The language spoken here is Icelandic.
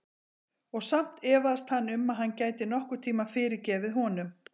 Og samt efaðist hann um að hann gæti nokkurn tíma fyrirgefið honum.